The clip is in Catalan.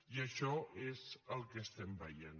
i això és el que estem veient